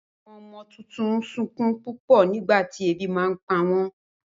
Àwọn ọmọ tuntun n sunkún pupọ nígbàtí ebi bá npa wọn